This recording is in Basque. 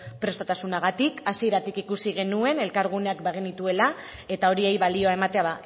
prestutasunagatik hasieratik ikusi genuen elkargunean bagenituela eta horiei balioa ematea